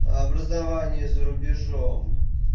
образование за рубежом